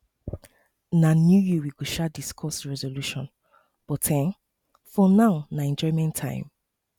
na new year we go um discuss resolution but um for now na enjoyment time